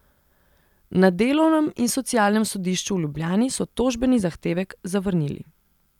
Na Delovnem in socialnem sodišču v Ljubljani so tožbeni zahtevek zavrnili.